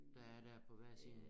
Der er dér på hver side